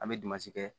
An bɛ kɛ